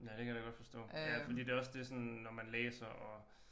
Ja det kan jeg da godt forstå ja fordi det også det sådan når man læser og